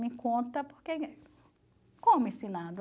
Me conta, porque... Como ensinando?